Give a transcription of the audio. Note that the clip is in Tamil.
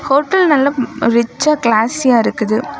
ஹோட்டல் நல்ல ரிச்சா கிளாசியா இருக்குது.